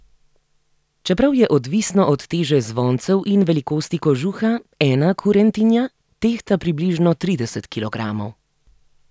Čeprav je odvisno od teže zvoncev in velikosti kožuha, ena kurentija tehta približno trideset kilogramov.